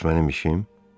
Bəs mənim işim?